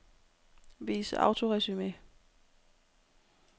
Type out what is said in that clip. Vis autoresumé.